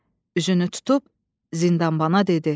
Üzünü tutub zindanbana dedi: